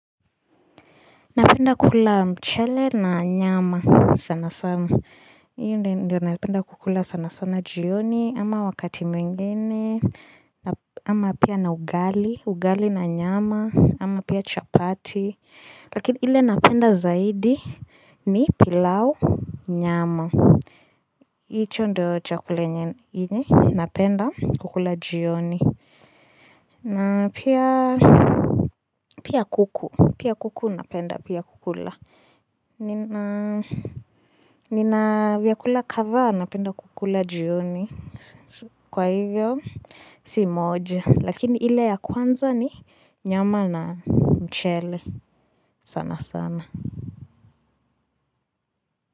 Napenda kukula mchele na nyama sana sana. Iyo ndio napenda kukula sana sana jioni ama wakati mwingene ama pia na ugali, ugali na nyama ama pia chapati. Lakini ile napenda zaidi ni pilau nyama. Hicho ndo chakula yenye napenda kukula jioni. Na pia kuku, pia kuku napenda pia kukula. Nina vyakula kadhaa napenda kukula jioni kwa hivyo Si moja lakini ile ya kwanza ni nyama na mchele sana sana.